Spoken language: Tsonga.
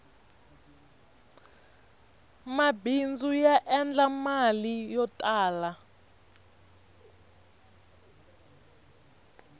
mabindzu ya endla mali yo tala